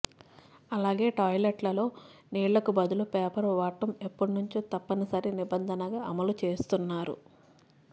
అలాగే టాయ్లెట్లలో నీళ్ళకు బదులు పేపర్ వాడటం ఎప్పణ్ణుంచో తప్పనిసరి నిబంధనగా అమలు చేస్తున్నారు